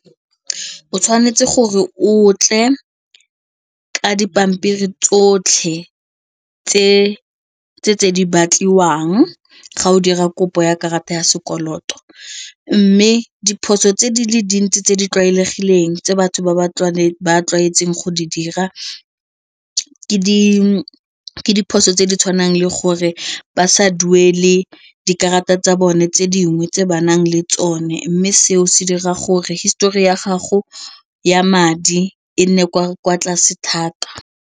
O tshwanetse gore otle ka dipampiri tsotlhe tse di batliwang ga o dira kopo ya karata ya sekoloto mme diphoso tse di le dintsi tse di tlwaelegileng tse batho ba tlwaetseng go di dira diphoso tse di tshwanang le gore basha duele dikarata tsa bone tse dingwe tse ba nang le tsone mme seo se dira gore histori ya gago ya madi e nne kwa tlase thata.